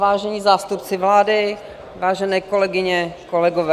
Vážení zástupci vlády, vážené kolegyně, kolegové.